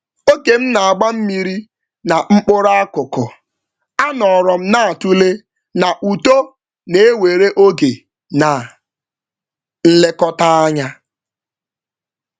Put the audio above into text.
Mgbe m na-agba osisi mmiri, m tụgharịrị uche na ka uto si ewe oge na nlekọta na-agbanwe agbanwe.